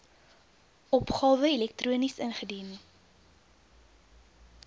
opgawe elektronies ingedien